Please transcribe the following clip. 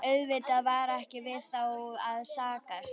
Auðvitað var ekki við þá að sakast.